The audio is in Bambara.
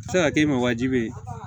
A bɛ se ka kɛ i ma wajibi ye